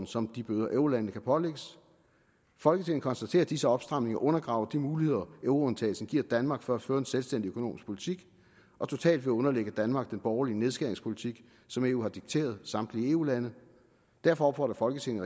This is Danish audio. som de bøder eurolandene kan pålægges folketinget konstaterer at disse opstramninger undergraver de muligheder euroundtagelsen giver danmark for at føre en selvstændig økonomisk politik og totalt vil underlægge danmark den borgerlige nedskæringspolitik som eu har dikteret samtlige eu lande derfor opfordrer folketinget